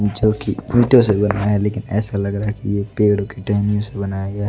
जो कि ईंटों से बना है लेकिन ऐसा लग रहा है कि ये पेड़ों की टहनियों से बनाया गया है।